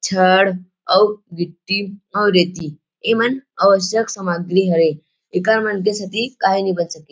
छड़ अऊ गिट्टी और रेती इ मन अवश्यक समाग्री हरे एकर मन के सेती काही नइ बन सके --